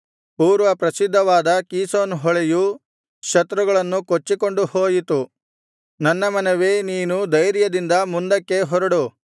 ಪೂರ್ವಪ್ರಸಿದ್ಧವಾದ ಕೀಷೋನ್ ಹೊಳೆಯು ಶತ್ರುಗಳನ್ನು ಕೊಚ್ಚಿಕೊಂಡು ಹೋಯಿತು ನನ್ನ ಮನವೇ ನೀನು ಧೈರ್ಯದಿಂದ ಮುಂದಕ್ಕೆ ಹೊರಡು